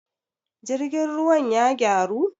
jirgin ruwan ya gyaru?